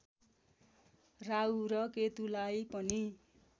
राहु र केतुलाई पनि